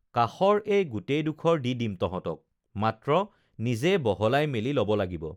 কাষৰ এই গোটেইডোখৰ দি দিম তঁহতক মাত্ৰ নিজে বহলাই মেলি লব লাগিব